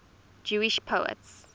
jewish poets